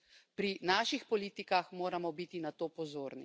Pri naših politikah moramo biti na to pozorni.